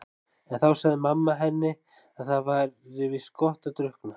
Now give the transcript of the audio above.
En þá sagði mamma henni að það væri víst gott að drukkna.